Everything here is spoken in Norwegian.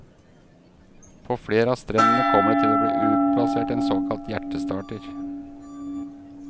På flere av strendene kommer det til å bli utplassert en såkalt hjertestarter.